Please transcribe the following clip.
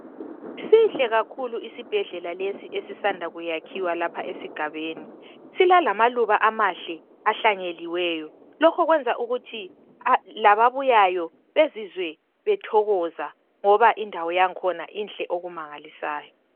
Sihle kakhulu isibhedlela lesi esisanda kuyakhiwa lapha esigabeni. Silalamaluba amahle ahlanyeliweyo. Lokho kwenza ukuthi lababuyayo bezizwe bethokoza ngoba indawo yang'khona inhle okumangalisayo. .